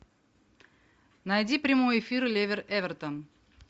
найди прямой эфир ливер эвертон